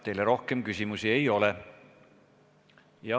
Teile rohkem küsimusi ei ole.